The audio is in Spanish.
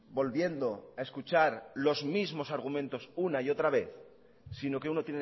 volviendo a escuchar los mismos argumentos una y otra vez sino que uno